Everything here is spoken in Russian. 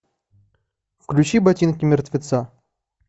включи ботинки мертвеца